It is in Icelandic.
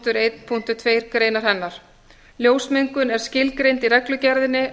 samanber eitt eitt tvö grein hennar ljósmengun er skilgreind í reglugerðinni